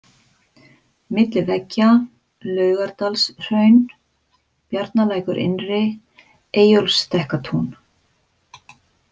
Milli veggja, Laugalandshraun, Bjarnalækur innri, Eyjólfsstekkatún